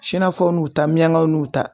Sɛnɛfɔw n'u ta miyankaw n'u ta